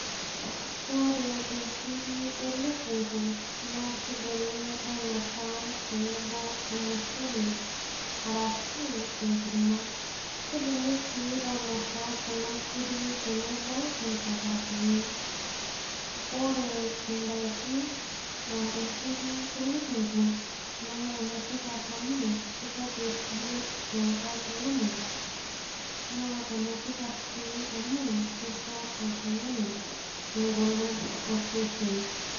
Ore inkiri elukungu naa kidimi ainosa tenebo ormushele arashu enkurma kidimi sii ainosa kuna kiri tenebo inchapatini ore indaikin aa inkiri elukungu naa enetipat amu kitobirr biotisho oltung'ani naa enetipat sii amu kisho oltung'ani engolon osesen.